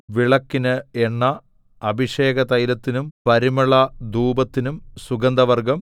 വിളക്കിന് എണ്ണ അഭിഷേകതൈലത്തിനും പരിമളധൂപത്തിനും സുഗന്ധവർഗ്ഗം